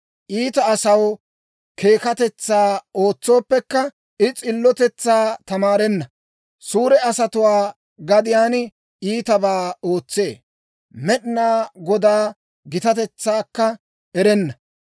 Iita asaw keekatetsaa ootsooppekka, I s'illotetsaa tamaarenna. Suure asatuwaa gadiyaan iitabaa ootsee; Med'inaa Godaa gitatetsaakka erenna.